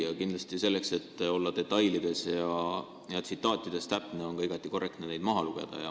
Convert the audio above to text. Ja kindlasti on selleks, et olla detailides ja tsitaatides täpne, ka igati korrektne küsimust maha lugeda.